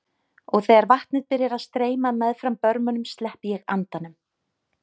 Og þegar vatnið byrjar að streyma meðfram börmunum sleppi ég andanum.